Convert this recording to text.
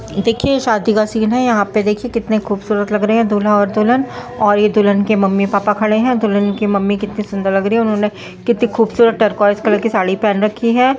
शादी का फंक्शन हो रहा है यहाँ पर कुछ औरतें खड़ी हैं एक दुल्हन बैठी है एक आदमी खड़ा है एक बच्चा खड़ा है।